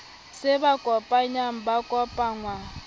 se ba kopanyang ba kopangwa